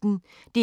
DR P1